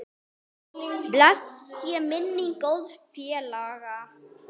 Blessuð sé minning góðs félaga.